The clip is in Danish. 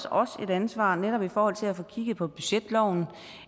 os et ansvar netop i forhold til at få kigget på budgetloven